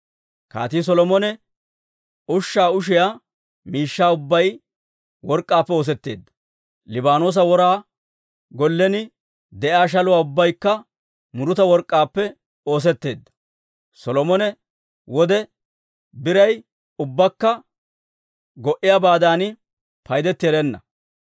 Kaatii Solomone ushshaa ushiyaa miishshaa ubbay work'k'aappe oosetteedda; Liibaanoosa Wora Gollen de'iyaa shaluwaa ubbaykka muruta work'k'aappe oosetteedda. Solomone wode biray ubbakka go"iyaabaadan paydetti erenna.